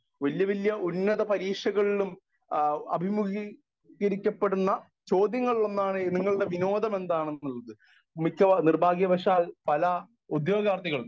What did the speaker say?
Speaker 1 വല്യ വല്യ ഉന്നത പരീക്ഷകളിലും ആ അഭിമുഖികരിക്കപ്പെടുന്ന ചോദ്യങ്ങളിൽ ഒന്നാണ് നിങ്ങളുടെ വിനോദം എന്താണന്നുള്ളത്. മിക്കവാറും നിർഭാഗ്യവശാൽ പല ഉത്യോഗാർത്ഥികളും